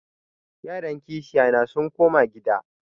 Yaran kishiyana sun koma gida.